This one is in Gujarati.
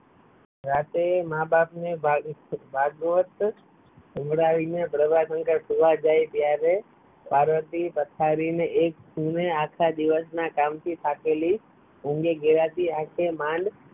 રાતે માં બાપ ને ભાગવત સંભળાવી ને પ્રભાશંકર સુવા જાય ત્યારે પાર્વતી પથારી ને એક ખૂણે આખા દિવસ ના કામ થી થાકેલી ઊંઘાય ગેલી આંખે થી માંડ